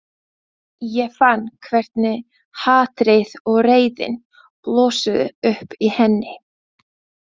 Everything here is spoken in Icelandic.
Ég fann hvernig hatrið og reiðin blossuðu upp í henni.